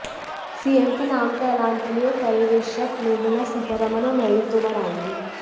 CM के नाम का ऐलान के लिए पर्यवेक्षक निर्मला सीतारमण और नरेंद्र तोमर आएंगे